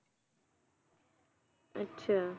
ਅੱਛਾ